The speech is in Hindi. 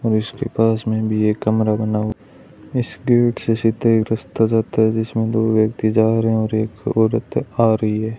और इसके पास में भी एक कमरा बना इस एक रस्ता जाता है जिसमें दो व्यक्ति जा रहे हैं और एक औरत आ रही है।